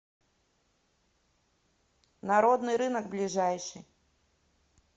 народный рынок ближайший